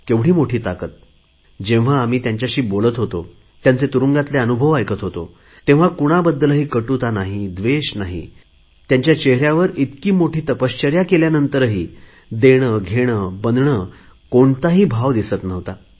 किती मोठी ताकद जेव्हा मी त्यांच्याशी बोलत होतो त्यांचे तुरुंगातील अनुभव ऐकत होतो तेव्हा कुणाबद्दल कटुता नाही द्वेष नाही त्यांच्या चेहऱ्यावर इतकी मोठी तपश्चर्या केल्यानंतरही देणेघेणेबनणे कोणताही भाव त्यांच्या चेहऱ्यावर नव्हता